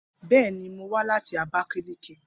bẹẹni, Mo wa lati Abakaliki